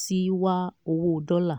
sí wá owó dọ́là.